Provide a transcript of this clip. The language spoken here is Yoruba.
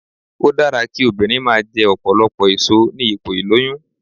Ó dára kí obìnrin máa jẹ ọ̀pọ̀lọpọ̀ èso ní ipò ìlóyún